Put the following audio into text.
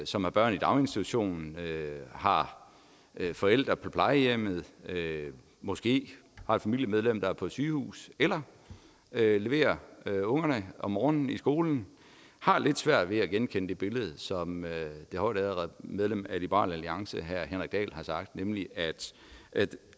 som har børn i daginstitution har forældre på plejehjem måske har et familiemedlem der er på sygehus eller leverer ungerne om morgenen i skolen har lidt svært ved at genkende det billede som det højtærede medlem af liberal alliance herre henrik dahl har sagt nemlig at